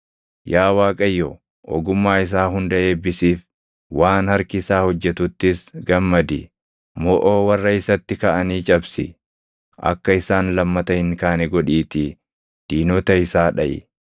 Yaa Waaqayyo, ogummaa isaa hunda eebbisiif; waan harki isaa hojjetuttis gammadi. Moʼoo warra isatti kaʼanii cabsi; akka isaan lammata hin kaane godhiitii diinota isaa dhaʼi.”